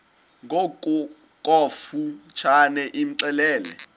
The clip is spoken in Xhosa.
ngokofu tshane imxelele